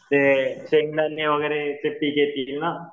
ते शेंगदाणे वगैरेचे पीक येतील ना?